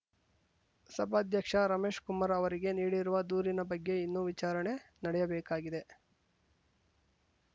ಸಭಾಧ್ಯಕ್ಷ ರಮೇಶ್ ಕುಮಾರ್ ಅವರಿಗೆ ನೀಡಿರುವ ದೂರಿನ ಬಗ್ಗೆ ಇನ್ನೂ ವಿಚಾರಣೆ ನಡೆಯಬೇಕಾಗಿದೆ